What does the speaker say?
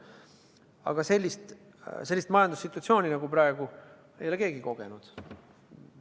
Aga sellist majandussituatsiooni nagu praegu ei ole keegi kogenud.